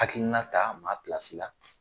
Akiina ta ma pilasi la